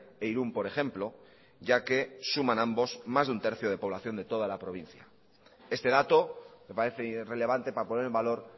e irún por ejemplo ya que suman ambos más de un tercio de población de toda la provincia este dato me parece relevante para poner en valor